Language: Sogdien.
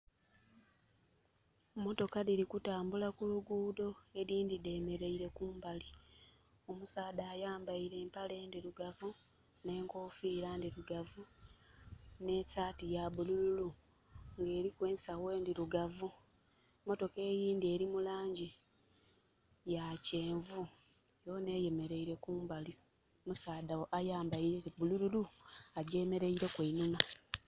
Motoka dhili kutambula ku lugudho edhindhi dhemeraile kumbali. Omusaadha ayambaile empale ndirugavu n'enkofira ndirugavu n'esaati yabululu nga eliku ensagho ndirugavu, motoka eyindi eri mulangi ya kyenvu yona eyemeraile kumbali omusaadha ayambaile bululu agyemeraileku einhuma.